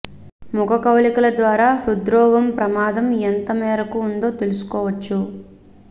ముఖ కవళికల ద్వారా హృద్రోగం ప్రమాదం ఎంత మేరకు ఉందో తెలుసుకోవచ్చు